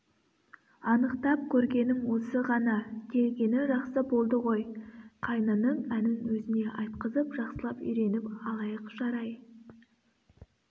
анықтап көргенім осы ғана келгені жақсы болды ғой қайнының әнін өзіне айтқызып жақсылап үйреніп алайық жарай